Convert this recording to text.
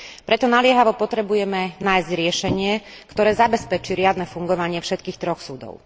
Preto naliehavo potrebujeme nájsť riešenie, ktoré zabezpečí riadne fungovanie všetkých troch súdov.